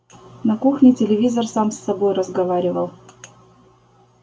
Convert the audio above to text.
на кухне телевизор сам с собой разговаривал